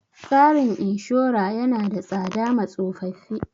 Tsarin inshora ya na da tsada ma tsofaffi